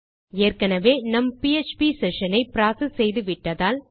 ஏற்கெனெவே நம் PHP session ஐ ப்ராசஸ் செய்து விட்டதால்